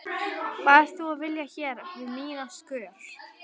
Hvað ert þú að vilja hér við mína skör?